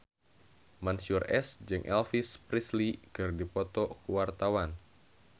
Mansyur S jeung Elvis Presley keur dipoto ku wartawan